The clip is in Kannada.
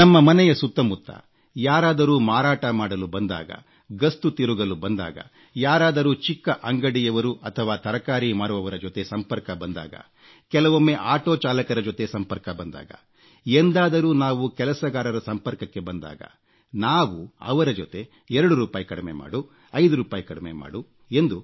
ನಮ್ಮ ಮನೆಯ ಸುತ್ತಮುತ್ತ ಯಾರಾದರೂ ಮಾರಾಟ ಮಾಡಲು ಬಂದಾಗ ಗಸ್ತು ತಿರುಗಲು ಬಂದಾಗ ಯಾರಾದರೂ ಚಿಕ್ಕ ಅಂಗಡಿಯವರು ಅಥವಾ ತರಕಾರಿ ಮಾರುವವರ ಜೊತೆ ಸಂಪರ್ಕ ಬಂದಾಗ ಕೆಲವೊಮ್ಮೆ ಆಟೋ ಚಾಲಕರ ಜೊತೆ ಸಂಪರ್ಕ ಬಂದಾಗ ಎಂದಾದರೂ ನಾವು ಕೆಲಸಗಾರರ ಸಂಪರ್ಕಕ್ಕೆ ಬಂದಾಗ ನಾವು ಅವರ ಜೊತೆ 2 ರೂಪಾಯಿ ಕಡಿಮೆ ಮಾಡು 5 ರೂಪಾಯಿ ಕಡಿಮೆ ಮಾಡು